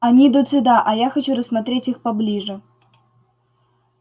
они идут сюда а я хочу рассмотреть их поближе